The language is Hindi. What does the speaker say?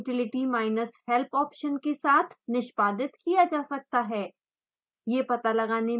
प्रत्येक को utility minus help ऑप्शन के साथ निष्पादित किया जा सकता है